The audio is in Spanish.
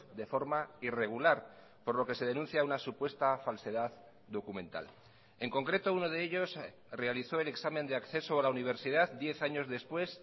de forma irregular por lo que se denuncia una supuesta falsedad documental en concreto uno de ellos realizó el examen de acceso a la universidad diez años después